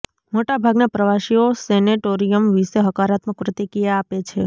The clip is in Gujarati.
મોટા ભાગના પ્રવાસીઓ સેનેટોરિયમ વિશે હકારાત્મક પ્રતિક્રિયા આપે છે